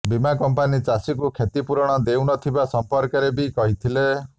ବୀମା କଂପାନି ଚାଷୀକୁ କ୍ଷତିପୂରଣ ଦେଉନଥିବା ସଂପର୍କରେ ବି କହିଥିଲେ